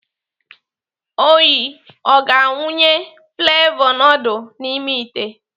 Onyi ọ ga-awụnye flevọ nudul n'ime ite?